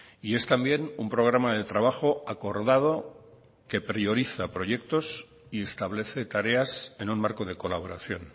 y es también un programa de trabajo acordado que prioriza proyectos y establece tareas en un marco de colaboración